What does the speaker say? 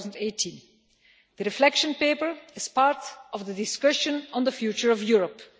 2018. The Reflection Paper is part of the discussion on the future of Europe.